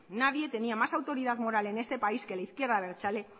nadie tenía más autoridad moral en este país que la izquierda abertzale